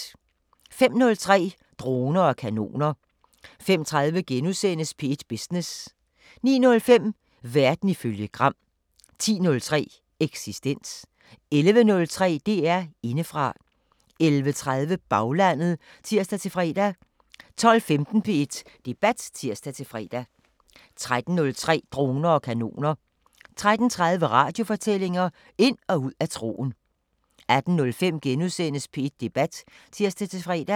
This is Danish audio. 05:03: Droner og kanoner 05:30: P1 Business * 09:05: Verden ifølge Gram 10:03: Eksistens 11:03: DR Indefra 11:30: Baglandet (tir-fre) 12:15: P1 Debat (tir-fre) 13:03: Droner og kanoner 13:30: Radiofortællinger: Ind og ud af troen 18:05: P1 Debat *(tir-fre)